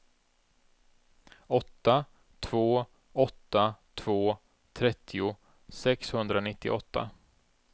åtta två åtta två trettio sexhundranittioåtta